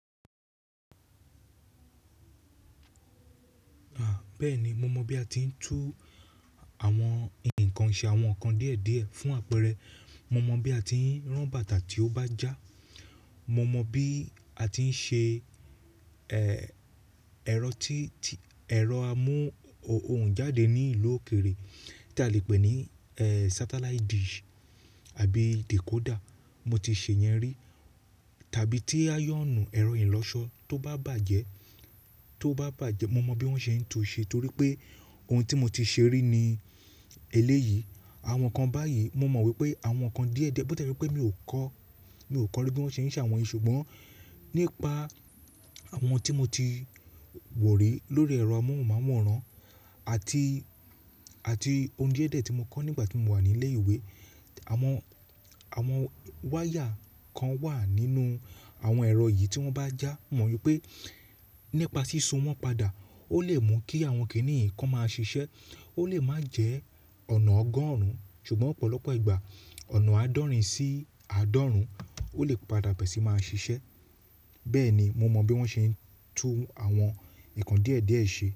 Bẹ́ẹ̀ni, mo mọ bí a ti ń tú àwọn nǹkan ṣe, àwọn nǹkan díẹ̀ díẹ̀ fún àpẹẹrẹ, mo mọ bí a ti ń rán bàtà tí ó bá já, mo mọ bí a ti ń ṣe, ẹ, ẹ̀rọ tí, tí, ẹ̀rọ amóhunjáde ní ìlú òkèrè tí a lè pè ní, ẹ, satellite dish àbí decoder. Mo ti ṣe yẹn rí tàbí tí áyọ̀nù ẹ̀rọ ìlọṣọ tó bá bàjẹ́, tó bá bàjẹ́ mo mọ bí wọ́n ṣe ń tú u ṣe torí pé ohun tí mo ti ṣe rí ni eléyìí. Àwọn nǹkan báyìí mo mọ wípé àwọn nǹkan díẹ̀ díẹ̀, bó tí e je pé mi ò kọ́, mi ò kọ́ ní bí wọ́n ṣe ń ṣe àwọn èyí ṣùgbọ́n nípa àwọn tí mo ti wò rí lórí ẹ̀rọ amóhùnmáwòrán àti, àti ohun díẹ̀ díẹ̀ tí mo kọ́ nígbà tí mo wà ní ilé ìwé. Àwọn, àwọn wire kan wà nínú àwọn ẹ̀rọ yìí tí wọ́n bá já, mo mọ wípé nípa sísun wọn padà ó lè mú kí àwọn kìnnìǹ kan máa ṣiṣẹ́. Ó lè má jẹ́ ọ̀nà ọgọ́rùn ún ṣùgbọ́n ọ̀pọ̀lọpọ̀ ìgbà ọ̀nà àádọ́rin sí àádọ́rùn ún ó lè padà bẹ̀rẹ̀ sí máa ṣiṣẹ́. Bẹ́ẹ̀ ni mo mọ bí wọ́n ṣe ń tú àwọn nǹkan díẹ̀ díẹ̀ ṣe.